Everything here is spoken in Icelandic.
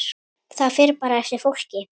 Það fer bara eftir fólki.